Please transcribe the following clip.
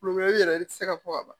yɛrɛ i tɛ se ka fɔ ka ban